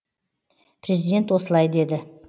президент осылай деді